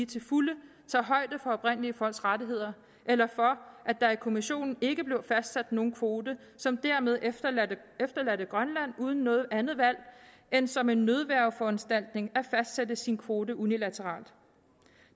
til fulde tager højde for oprindelige folks rettigheder eller for at der i kommissionen ikke blev fastsat nogen kvote som dermed efterlod grønland uden noget andet valg end som en nødværgeforanstaltning at fastsætte sin kvote unilateralt